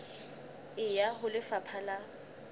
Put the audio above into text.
e ya ho lefapha la